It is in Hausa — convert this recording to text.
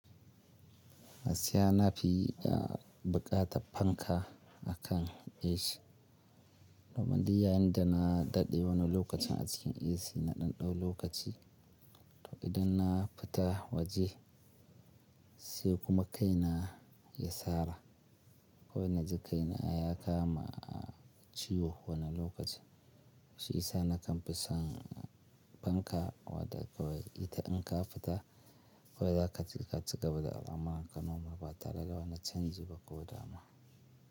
Gaskiya na fi yi buƙatar fanka akan AC. Domin dai yayin da na daɗe wani lokaci a cikin AC na ɗanɗau lokaci. To idan na fita waje sai kuma kai na ya sara kawai naji kaina ya kama ciwo wani lokaci. Shi yisa na kan fi son fanka wadda kawai ita in ka fita ko da ka ci gaba da al'amuran ka normal ba tare da wani canji ba ko damuwa.